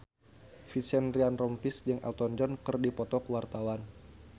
Vincent Ryan Rompies jeung Elton John keur dipoto ku wartawan